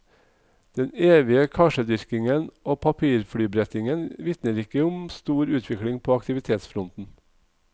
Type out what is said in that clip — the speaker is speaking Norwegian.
Den evige karsedyrkingen og papirflybrettingen vitner ikke om stor utvikling på aktivitetsfronten.